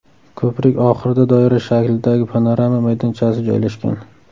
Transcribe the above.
Ko‘prik oxirida doira shaklidagi panorama maydonchasi joylashgan.